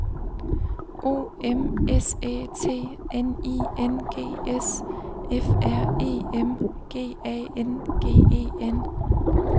O M S Æ T N I N G S F R E M G A N G E N